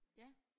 Ja